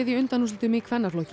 undanúrslitin í kvennaflokki